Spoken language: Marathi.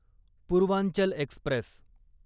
पूर्वांचल एक्स्प्रेस